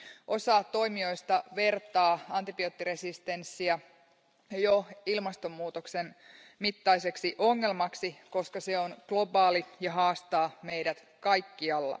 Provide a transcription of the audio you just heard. Osa toimijoista vertaa antibioottiresistenssiä jo ilmastonmuutoksen mittaiseksi ongelmaksi, koska se on globaali ja haastaa meidät kaikkialla.